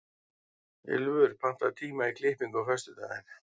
Ylfur, pantaðu tíma í klippingu á föstudaginn.